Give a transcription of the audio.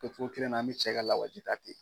O cogo kelen na an bɛ cɛ ka lawaji ta ten.